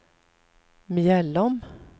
Mjällom